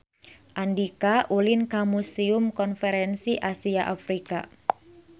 Andika ulin ka Museum Konferensi Asia Afrika